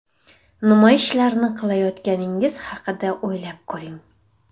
Nima ishlarni qilayotganingiz haqida o‘ylab ko‘ring!